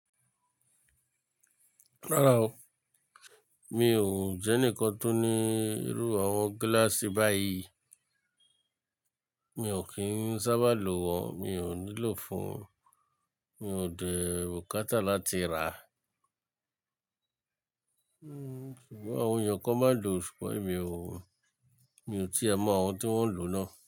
Rárá o, mi ò jẹ́ enikan tó ní irú àwọn gíláàsì báyìí. Mi ò kí ń sábà lo wọn, mi ò nílò fún, mi ò dé rokátá láti rà á. Sugbon àwọn èèyàn kan máa ń lò ó ṣùgbọ́n èmi ò, mi ò tí ẹ mọ àwọn tí wọ́n ń lò náà.